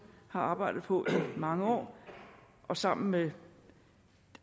har arbejdet på i mange år og sammen med